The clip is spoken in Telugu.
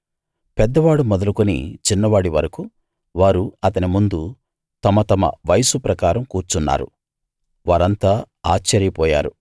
పెద్దవాడు మొదలుకుని చిన్నవాడి వరకూ వారు అతని ముందు తమ తమ వయసు ప్రకారం కూర్చున్నారు వారంతా ఆశ్చర్యపోయారు